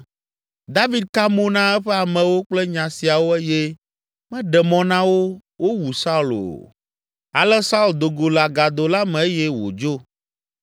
David ka mo na eƒe amewo kple nya siawo eye meɖe mɔ na wo wowu Saul o. Ale Saul do go le agado la me eye wòdzo.